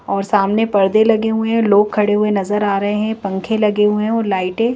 और सामने परदे लगे हुए है लोग खड़े हुए नजर आ रहे हैं पंखे लगे हुए हैं और लाइटें --